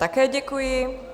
Také děkuji.